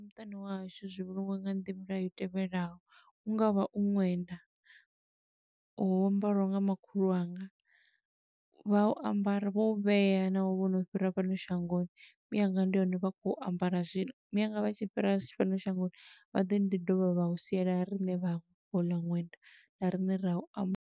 Muṱani wa hashu zwi vhulungiwa nga nḓila i tevhelaho, u ngavha u ṅwenda wo ambariwaho nga makhulu wanga, vha u ambara, vho u vhea navho vho no fhira fhano shangoni. Mianga ndi hone vha khou ambara zwino, mianga vha tshi fhira fhano shangoni, vha ḓo ḓi dovha vha u siela riṋe vhaṅwe houḽa ṅwenda, na rine ra u amba.